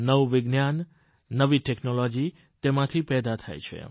નવું વિજ્ઞાન નવી ટેકનોલોજી તેમાંથી પેદા થાય છે